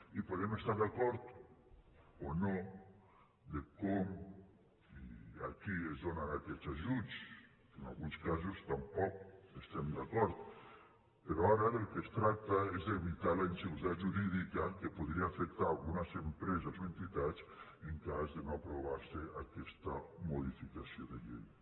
i podem estar d’acord o no de com i a qui es donen aquests ajuts que en alguns casos tampoc hi estem d’acord però ara del que es tracta és d’evitar la inseguretat jurídica que podria afectar algunes empreses o entitats en cas de no aprovarse aquesta modificació de llei